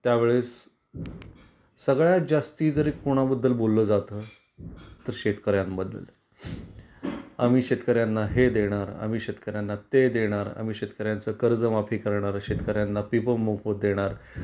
त्या वेळेस सगळ्यात जास्ती जर कोणा बद्दल बोलल जात तर शेतकर्यांन बद्दल. आम्ही शेतकर्यांना हे देणार आम्ही शेतकर्यांना ते देणार, आम्ही शेतकर्यांच कर्जमाफी करणार, शेतकर्यांना पीक मोफत देणार.